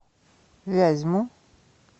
вязьму